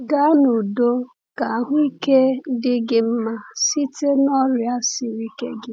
Gaa n’udo, ka ahụike dị gị mma site n’ọrịa siri ike gị.